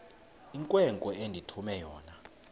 inkwenkwe endithume yona